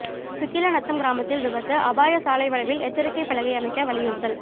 சுக்கிலநத்தம் கிராமத்தில் விபத்து அபாய சாலை வளைவில் எச்சரிக்கைப் பலகை அமைக்க வலியுறுத்தல்